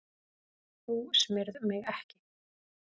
Þú smyrð mig ekki.